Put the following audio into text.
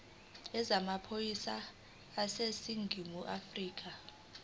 yezamaphoyisa aseningizimu afrika